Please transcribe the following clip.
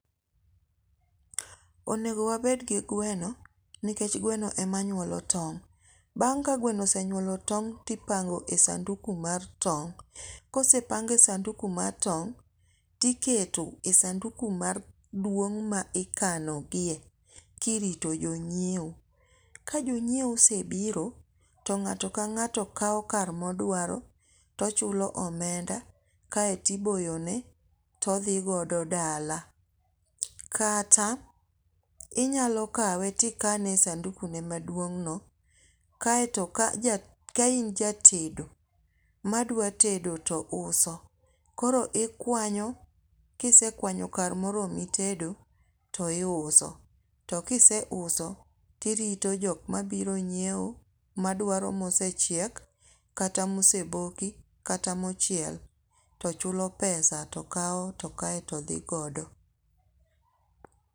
Onego wabed gi gweno nikech gweno ema nyuolo tong', bang' ka gweno osenyuolo tong' to ipango e sanduku mar tong', kose pange e sanduku mar tong' tikete e sanduku maduong' ma ikanogie kirito jonyiewo, ka jonyiewo osebiro to ng'ato ka ng'ato kawo kar moduaro to ochulo omenda kaeto iboyone todhigodo dala. Kata inyalo kawe tikane e sandukune maduong'no, kaeto ka in ja tedo madwatedo to uso koro ikwanyo kisekwanyo kar moromi tedo to iuso, to kiseuso to irito jok mabiro nyiewo madwaro mosechiek kata moseboki kata mochiel to chulo pesa to kawo to kaeto dhi godo